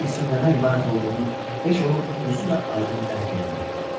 Bu hissin nədən ibarət olduğunu heç onun özü də aydın dərk eləmirdi.